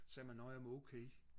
sagde man nå jamen okay